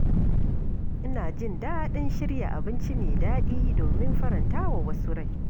Ina jin daɗin shirya abinci mai daɗi domin faranta wa wasu rai.